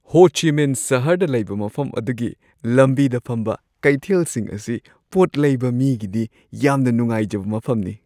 ꯍꯣ ꯆꯤ ꯃꯤꯟ ꯁꯍꯔꯗ ꯂꯩꯕ ꯃꯐꯝ ꯑꯗꯨꯒꯤ ꯂꯝꯕꯤꯗ ꯐꯝꯕ ꯀꯩꯊꯦꯜꯁꯤꯡ ꯑꯁꯤ ꯄꯣꯠ ꯂꯩꯕ ꯃꯤꯒꯤꯗꯤ ꯌꯥꯝꯅ ꯅꯨꯡꯉꯥꯏꯖꯕ ꯃꯐꯝꯅꯤ ꯫